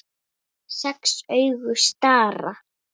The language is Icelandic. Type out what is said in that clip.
Sex augu stara.